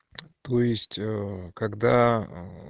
то есть ээ когда аа